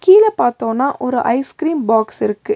கீழ பாத்தோனா ஒரு ஐஸ் கிரீம் பாக்ஸ் இருக்கு.